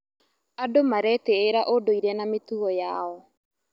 Andũ maretĩĩra ũndũire na mĩtugo yao.